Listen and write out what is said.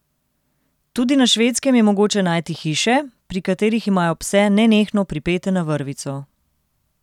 Tudi na Švedskem je mogoče najti hiše, pri katerih imajo pse nenehno pripete na vrvico.